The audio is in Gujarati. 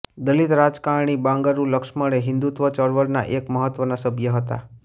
દલિત રાજકારણી બાંગારૂ લક્ષ્મણ એ હિન્દુત્વ ચળવળના એક મહત્ત્વના સભ્ય હતા